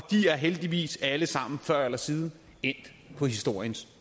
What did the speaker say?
de er heldigvis alle sammen før eller siden endt på historiens